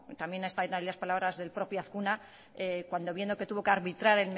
también están ahí las palabras del propio azkuna cuando viendo que tuvo que arbitrar